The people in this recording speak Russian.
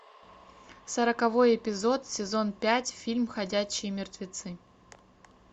сороковой эпизод сезон пять фильм ходячие мертвецы